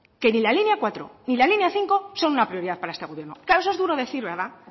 que ni la línea cuatro ni la línea cinco son una prioridad para este gobierno claro eso es duro decir verdad